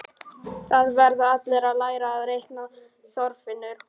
Það verða allir að læra að reikna, Þorfinnur